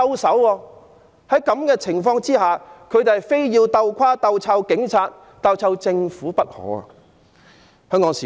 在這種情況下，他們非要"鬥垮"、"鬥臭"警察及"鬥臭"政府不可。